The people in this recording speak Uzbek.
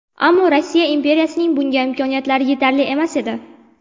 Ammo Rossiya imperiyasining bunga imkoniyatlari yetarli emas edi.